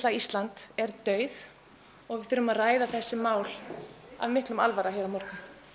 Ísland er dauð og við þurfum að ræða þessi mál af mikilli alvöru hér á morgun